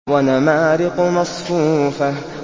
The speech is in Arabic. وَنَمَارِقُ مَصْفُوفَةٌ